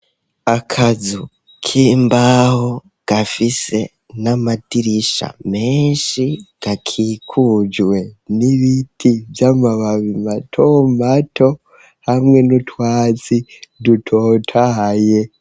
Akazu k'imbaho gafise n'amadirisha menshi, gakikujwe n'ibiti vy'amababi mato mato hamwe n'utwatsi dutotahaye.